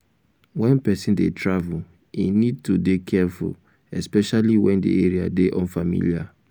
when person dey travel im need to dey careful especially when di area dey unfamiliar